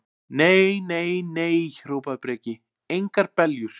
Nei, nei, nei, hrópaði Breki, engar beljur.